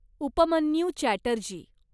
Upmanyu Chatterjee